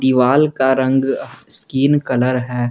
दीवाल का रंग स्किन कलर है।